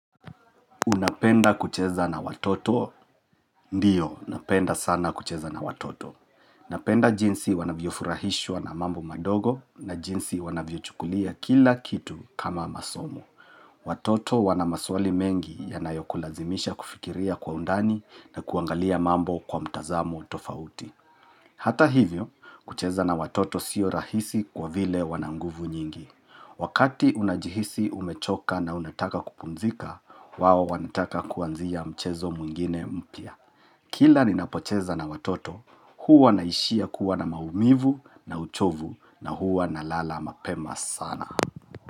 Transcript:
Unapenda kucheza na watoto? Ndio, napenda sana kucheza na watoto. Napenda jinsi wanavyofurahishwa na mambo madogo na jinsi wanavyochukulia kila kitu kama masomo. Watoto wanamaswali mengi yanayokulazimisha kufikiria kwa undani na kuangalia mambo kwa mtazamo tofauti. Hata hivyo, kucheza na watoto sio rahisi kwa vile wananguvu nyingi. Wakati unajihisi umechoka na unataka kupumzika, wao wanataka kuanzia mchezo mwingine mpya. Kila ninapocheza na watoto, huwa naishia kuwa na maumivu na uchovu na huwa na lala mapema sana.